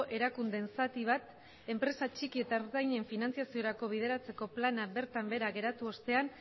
erakundeen zati bat enpresa txiki eta ertainen finantzaziorako bideratzeko plana bertan behera geratu ostean